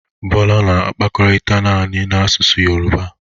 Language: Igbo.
Bola na-akpakọrịta naanị na asụsụ yoruba.